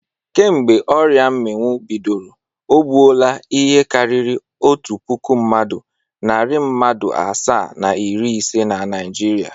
Kemgbe ọrịa mmịnwụ bidoro, o gbuola ihe karịrị otu puku mmadụ, narị mmadụ asaa na iri ise na Naịjirịa.